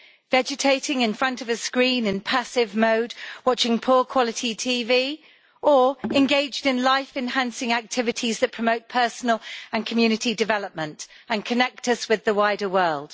Vegetating in front of a screen in passive mode, watching poor quality TV, or engaged in life enhancing activities that promote personal and community development, and connect us with the wider world?